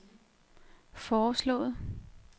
foreslået